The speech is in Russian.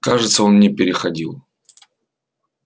кажется он не переходил